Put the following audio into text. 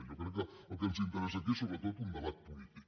jo crec que el que ens interessa aquí és sobretot un debat polític